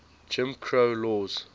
jim crow laws